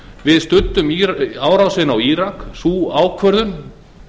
við studdum árásina á írak sú ákvörðun